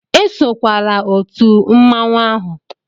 Esokwala otu mmanwụ ahụ!